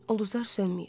Ulduzlar sönməyib.